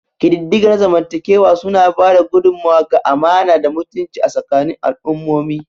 Ƙididdiga na zamantakewa suna ba da gudummawa ga amana da mutunci a tsakanin al'ummomi.